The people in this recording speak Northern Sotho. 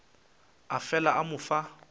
a fela a mo fa